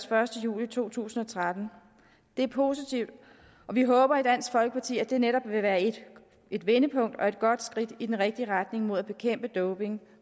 første juli to tusind og tretten er positivt og vi håber i dansk folkeparti at det netop vil være et et vendepunkt og et godt skridt i den rigtige retning mod at bekæmpe doping